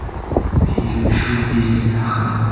Film shou-biznes haqida.